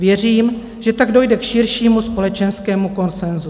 Věřím, že tak dojde k širšímu společenskému konsenzu.